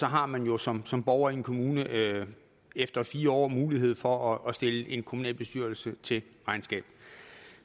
har man jo som som borger i en kommune efter fire år mulighed for at stille en kommunalbestyrelse til regnskab